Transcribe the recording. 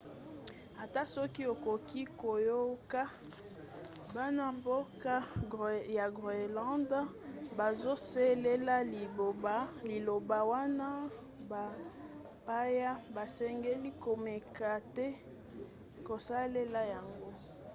ata soki okoki koyoka bana-mboka ya groenland bazosalela liloba wana bapaya basengeli komeka te kosalela yango